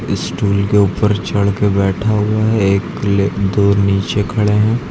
Stool के ऊपर चढ़ के बैठा हुआ है एक दो नीचे खड़े हैं।